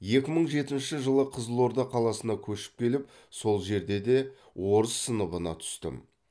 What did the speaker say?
екі мың жетінші жылы қызылорда қаласына көшіп келіп сол жерде де орыс сыныбына түстім